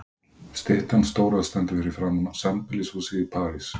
Styttan stóra stendur fyrir framan sambýlishúsið í París.